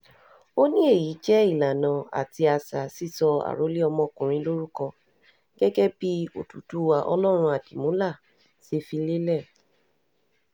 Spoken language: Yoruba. ó ní èyí jẹ́ ìlànà àti àṣà sísọ àròlé ọmọkùnrin lórúkọ gẹ́gẹ́ bí òdúdúwá ọlọ́run àdìmúlà ṣe fi lélẹ̀